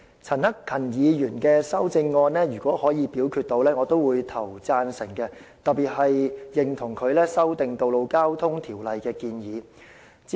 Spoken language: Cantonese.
陳克勤議員的修正案，如果能夠進行表決，我也會投贊成票，我特別認同他修訂《道路交通條例》的建議。